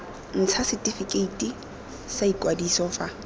ntsha setifikeiti sa ikwadiso fa